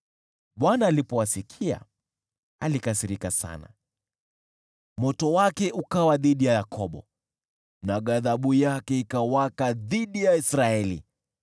Bwana alipowasikia, alikasirika sana, moto wake ukawa dhidi ya Yakobo, na ghadhabu yake ikawaka dhidi ya Israeli,